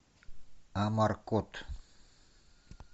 амаркорд